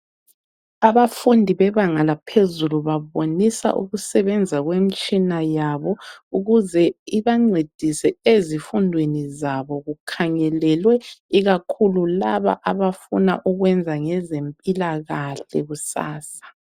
Abafundi bebanga laphezulu babonisa ukusebenza kwemtshina yabo ukuze ibancedise ezifundweni zabo kukhangelelwe ikakhulu laba abafuna ukwenza ngezempilakahle kusasa.